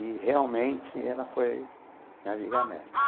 E realmente ela foi a viga-mestra.